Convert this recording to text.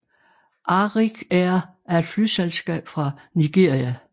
Arik Air er et flyselskab fra Nigeria